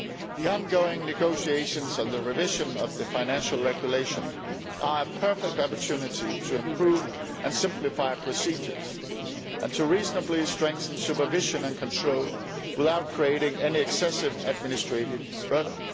The ongoing negotiations and the revision of the Financial Regulation are a perfect opportunity to improve and simplify procedures, and to reasonably strengthen supervision and control without creating any excessive administrative burden.